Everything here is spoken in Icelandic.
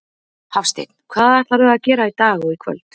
Hafsteinn: Hvað ætlarðu að gera í dag og í kvöld?